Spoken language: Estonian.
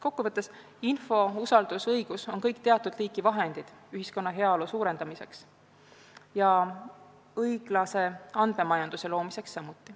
Kokku võttes: info, usaldus ja õigus on kõik teatud liiki vahendid ühiskonna heaolu suurendamiseks ja seejuures ka õiglase andmemajanduse loomiseks.